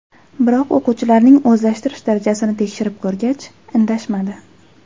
Biroq o‘quvchilarning o‘zlashtirish darajasini tekshirib ko‘rgach, indashmadi.